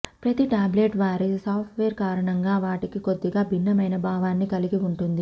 ప్రతి టాబ్లెట్ వారి software కారణంగా వాటికి కొద్దిగా భిన్నమైన భావాన్ని కలిగి ఉంటుంది